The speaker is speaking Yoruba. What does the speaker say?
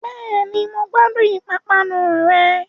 Bẹ́ẹ̀ni, mo gbádùn pápánu rẹ̀